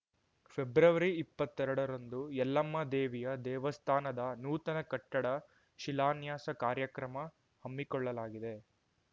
February ಇಪ್ಪತ್ತೆರಡರಂದು ಯಲ್ಲಮ್ಮ ದೇವಿಯ ದೇವಸ್ಥಾನದ ನೂತನ ಕಟ್ಟಡ ಶಿಲಾನ್ಯಾಸ ಕಾರ್ಯಕ್ರಮ ಹಮ್ಮಿಕೊಳ್ಳಲಾಗಿದೆ